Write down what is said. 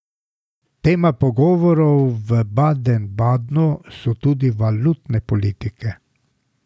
Tema pogovorov v Baden Badnu so tudi valutne politike.